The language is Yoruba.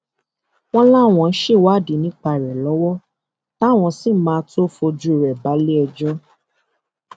wọn láwọn ń ṣèwádìí nípa rẹ lọwọ táwọn sì máa tóó fojú rẹ balẹẹjọ